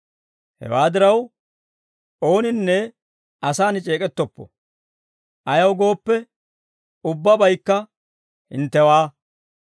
Hewaa diraw, ooninne asaan c'eek'ettoppo. Ayaw gooppe, ubbabaykka hinttewaa.